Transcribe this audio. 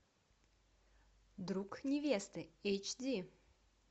друг невесты эйч ди